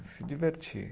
Se divertir.